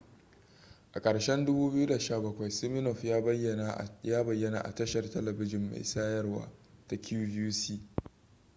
a ƙarshen 2017 siminoff ya bayyana a tashar telebijin mai sayarwa ta qvc